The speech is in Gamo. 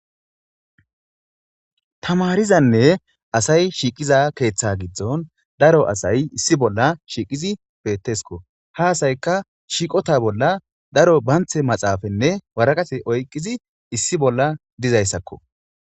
Tamarizanne asay shiiqiza keeththa giddon daro asay issi bolla shiiqizi peettesko haasayka shiiqota bolla daro banthe maxaafanne waraqate oyqqizi issi bolla dizayssakko.